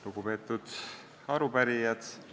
Lugupeetud arupärijad!